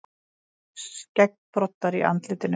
Skeggbroddar í andlitinu.